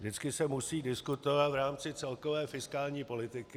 Vždycky se musí diskutovat v rámci celkové fiskální politiky.